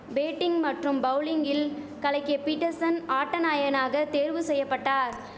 batting மற்றும் பவுலிங்கில் கலக்கிய பீட்டர்சன் ஆட்ட நாயகனாக தேர்வு செய்யபட்டார்